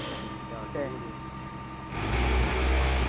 പിന്നെ അടിപൊളി